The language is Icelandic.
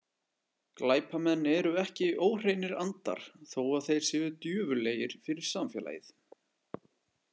Glæpamenn eru ekki óhreinir andar þó að þeir séu djöfullegir fyrir samfélagið.